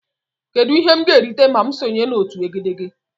Kedu ihe m ga-erite ma ọ bụrụ na m sonye na otu egedege?